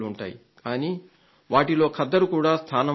కానీ వాటిలో ఖద్దరుకు కూడా స్థానం ఉండాలి